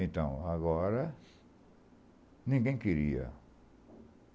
Então, agora, ninguém queria.